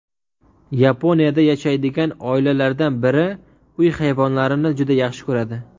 Yaponiyada yashaydigan oilalardan biri uy hayvonlarini juda yaxshi ko‘radi.